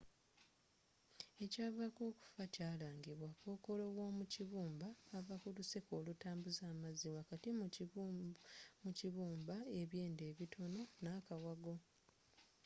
ekyavaako okufa kyalangibwa kokolo w'omukibumba ava kuluseke olutambuza amazzi wakati mu kibumba ebyenda ebitono n'akawago